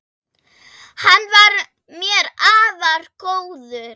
Hann var mér afar góður.